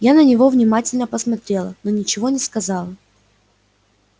я на него внимательно посмотрела но ничего не сказала